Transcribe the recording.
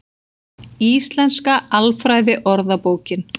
Íslenska alfræðiorðabókin.